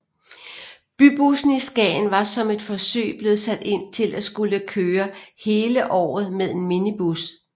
Bybussen i Skagen var som et forsøg blevet sat til at skulle kører hele året med en minibus